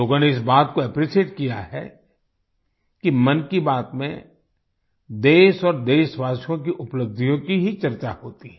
लोगों ने इस बात को एप्रिशिएट किया है कि मन की बात में देश और देशवासियो की उपलब्धियों की ही चर्चा होती है